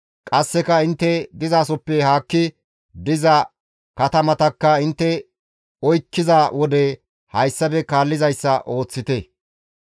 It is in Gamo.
Qasseka intte dizasoppe haakki diza katamatakka intte oykkiza wode hayssafe kaallizayssa ooththite.